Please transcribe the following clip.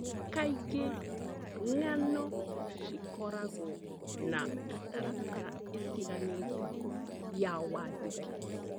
Kaingĩ, ng'ano cikoragwo na mĩtaratara itiganĩte ya wandĩki.